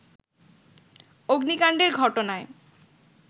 অগ্নিকাণ্ডের ঘটনায়